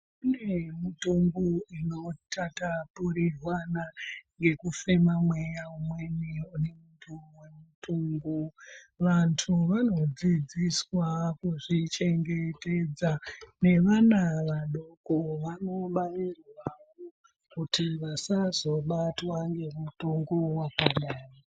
Kune mitungu inotatapurirwana ngekufema mweya umweni unemutungu. Vantu vanodzidziswa kuzvichengetedza nevana vadoko vanongwarirwawo kuti vasazobatwa ngemutungu wakadai.